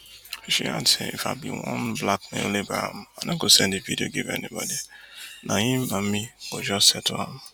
she add say if i bin wan blackmail abraham i no go send di video give anybodi na im and me go just settle am